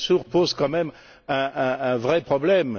Lamassoure pose quand même un vrai problème.